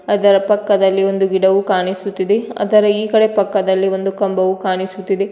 ಅದರ ಪಕ್ಕದಲ್ಲಿ ಒಂದು ಗಿಡವೂ ಕಾಣಿಸುತ್ತಿದೆ ಅದರ ಈ ಕಡೆ ಪಕ್ಕದಲ್ಲಿ ಒಂದು ಕಂಬವು ಕಾಣಿಸುತ್ತಿದೆ.